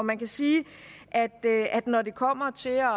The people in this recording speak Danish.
man kan sige at når det kommer til at